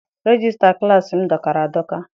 Regista klassi m dọkara adọka.